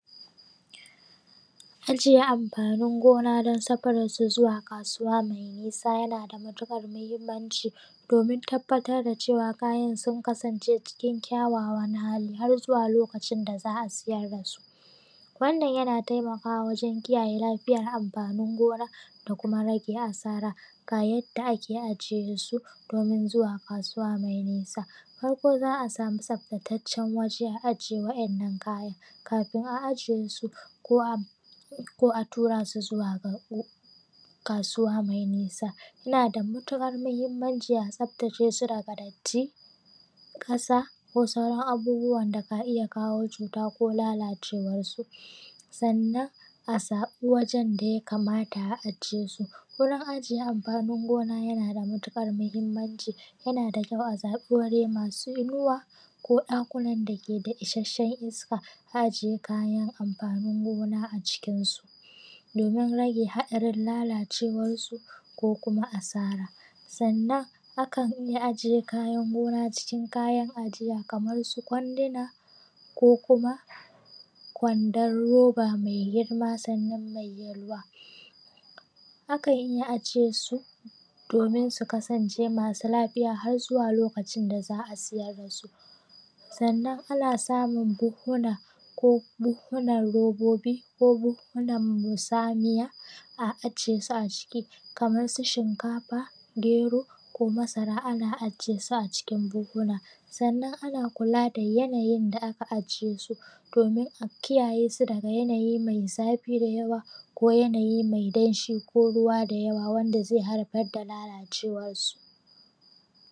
Ajiye amfanin gona don safarar su zuwa kasuwa mai nisa yana da matukar mahimmanci domin tabbatar da cewa kayan sun kasance cikin kyawawan hali har zuwa lokacin da za a siyar da su. Wannan yana taimakawa wajen kiyaye lafiyar amfanin gona da kuma rage asara ga yadda ake ajiye su domin zuwa kasuwa mai nisa. Farko za a samu tsaftacacen waje a ajiye wannan kayan, kafin a ajiye su ko a tura su zuwa kasuwa mai nisa yana da matukar mahimmanci a tsaftaceshi daga datti, ƙasa ko sauran abubuwan da ka iya kawo cuta ko lalacewar su. Sannan a samu wajen da ya kamata a a je su gurin ajiye amfanin gona ya na da matukar mahimmanci yana da kyau a zaɓi waje masu inuwa ko ɗakunan da yake da isashen iska a ajiyye kayan amfanin gona a cikin su domin rage hatsarin lalacewar su, ko kuma a sara. Sannan akan iya ajiye kayan gona cikin ajiya kamar su kwanduna, ko kuma kwandon roba mai girma sannan mai yalwa akan iya ajiye su domin su su kasance masu lafiya har zuwa lokacin da za a siyyar da su sannan ana samun buhuna, ko buhuna robobi ko buhuna samiya a ajiyesu a ciki kamar su shinkafa, gero, ko masara ana ajiye su a cikin buhuna. Sannan ana kula da yanayin da aka ajiye su domin a kiyaye su daga yanayi mai zafi da yawa ko yanayi mai danshi ko ruwa da yawa wanda haifar da lalacewar su